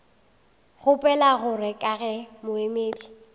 kgopela gore ka ge moemedi